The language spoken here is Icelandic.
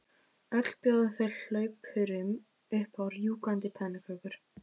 Öll bjóða þau hlaupurum upp á rjúkandi pönnukökur.